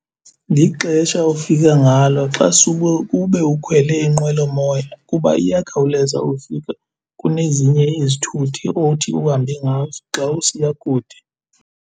Lixesha ofika ngalo xa sube ube ukhwele inqwelomoya kuba iyakhawuleza ukufika kunezinye izithuthi othi uhambe ngazo xa usiya kude.